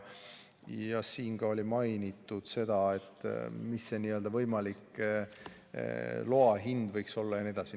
Siin mainiti ka seda, mis see võimalik loa hind võiks olla jne.